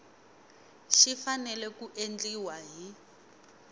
xi fanele ku endliwa hi